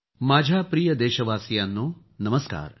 माझ्या प्रिय देशवासियांनो नमस्कार